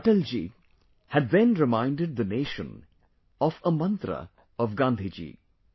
Atal ji, had then reminded the nation of a mantra of Gandhi ji